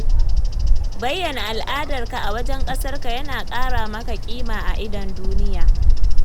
Bayyana al'adarka a wajen ƙasarka yana ƙara maka kima a idon duniya.